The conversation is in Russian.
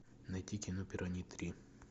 найти кино пираньи три